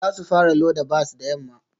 Za su fara loda bas da yamma